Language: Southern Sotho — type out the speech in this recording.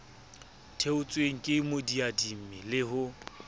theotsweng ke moadimi le ho